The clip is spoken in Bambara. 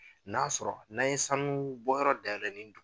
N'a sɔrɔ n'an ye sanuunbɔyɔrɔ dayɛlɛ nin dugu